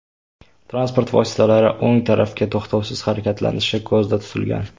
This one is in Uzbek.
Transport vositalari o‘ng tarafga to‘xtovsiz harakatlanishi ko‘zda tutilgan.